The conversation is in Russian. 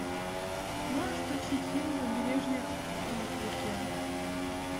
можешь включить фильм побережье африки